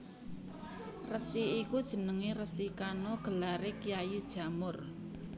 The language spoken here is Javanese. Resi iku jenenge Resi Kano gelare Kyai Jamur